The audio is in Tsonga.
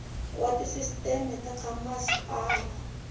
wa tisisteme ta ka masipala